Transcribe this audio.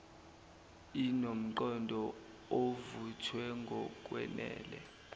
inomqondo ovuthwe ngokwenele